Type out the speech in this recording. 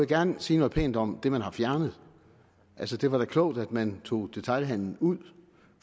gerne sige noget pænt om det man har fjernet altså det var da klogt at man tog detailhandelen ud